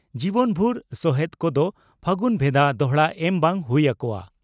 ᱡᱤᱵᱚᱱᱵᱷᱩᱨ ᱥᱚᱦᱮᱛ ᱠᱚᱫᱚ ᱯᱷᱟᱹᱜᱩᱱ ᱵᱷᱮᱫᱟ ᱫᱚᱦᱲᱟ ᱮᱢ ᱵᱟᱝ ᱦᱩᱭ ᱟᱠᱚᱣᱟ ᱾